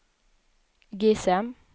GSM